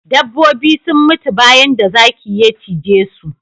Dabbobi sun mutu bayan da zaki ya cije su